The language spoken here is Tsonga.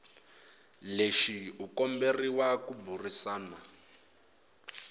lexi u komberiwa ku burisana